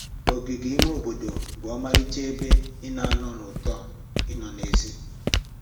Ogige ime obodo bụ ọmarịcha ebe ị na-anụ ụtọ ịnọ n'èzí